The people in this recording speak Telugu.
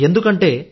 ఎందుకంటే